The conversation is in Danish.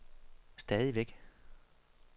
stadigvæk